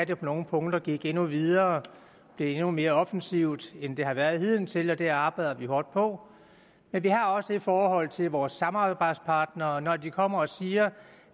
det på nogle punkter gik endnu videre og blev endnu mere offensivt end det har været hidtil og det arbejder vi hårdt på men vi har også det forhold til vores samarbejdspartnere at når de kommer og siger